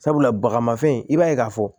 Sabula baga mafɛn i b'a ye k'a fɔ